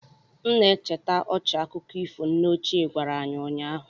M na-echeta ọchị akụkọ ifo nne ochie gwara anyị ụnyaahụ